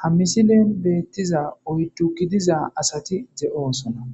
Ha misilen beetiza oydu gidiza asati de'osona.